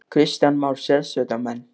Kristján Már: Sérsveitarmenn?